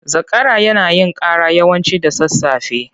Zakara yana yin cara yawanci da sasafe.